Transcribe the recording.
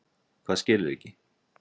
Hvað skilurðu ekki?